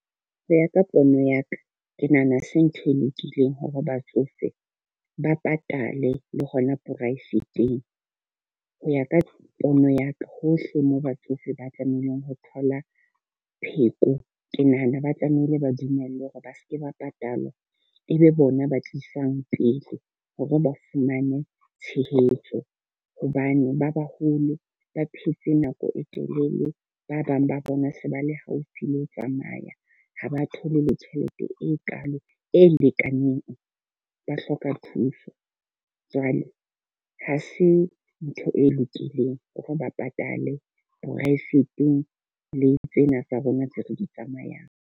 Ho ya ka pono ya ka, ke nahana ha se ntho e lokileng hore batsofe ba patale le hona poraefeteng. Ho ya ka pono ya ka, hohle moo batsofe ba tlamehileng ho thola pheko. Ke nahana ba tlamehile ba dumellwe hore ba seke ba patalwa, e be bona ba tlisang pele hore ba fumane tshehetso. Hobane ba baholo ba phetse nako e telele, ba bang ba bona se ba le haufi le ho tsamaya. Ha ba thole le tjhelete e kalo e lekaneng, ba hloka thuso. Jwale ha se ntho e lokileng ho re ba patale poraefeteng clinic tsena tsa rona tse re di tsamayang.